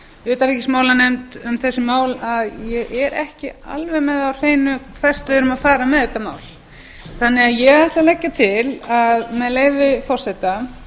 utanríkismálanefnd um þessi mál að ég er ekki alveg með það á hreinu hvert við erum að fara með þetta mál ég ætla því að leggja til með leyfi forseta